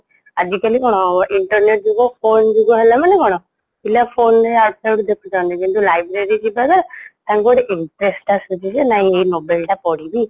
ଆଜିକାଲି କ'ଣ internet ଯୁଗ phone ଯୁଗ ହେଲମାନେ କ'ଣ ପିଲା phone ରେ ୟାଡୁ ସାଡୁ ଦେଖୁଛନ୍ତି କିନ୍ତୁ library ଯିବା ଦ୍ଵାରା ତାଙ୍କୁ ଗୋଟେ interest ଆସୁଛିଜେ ନାଇଁ ଏଇ novel ଟା ପଢ଼ିବି